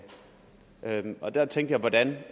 og der tænkte jeg hvordan